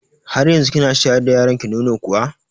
Har yanzu kina shayar da yaronki nono kuwa?